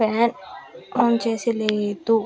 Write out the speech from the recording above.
Fan on చేసి లేదు .